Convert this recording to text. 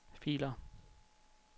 filer